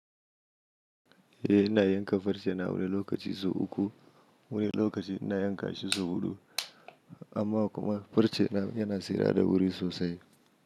Eh ina yanka farce na wani lokaci sau uku, wani lokaci ina yanka shi sau huɗu. Amma kuma farce na yana tsirara da wuri sosai.